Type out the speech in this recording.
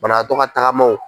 Banagatɔ ka tagamaw.